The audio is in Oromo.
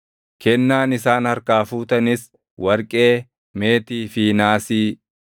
“Kennaan isaan harkaa fuutanis: “Warqee, meetii fi naasii;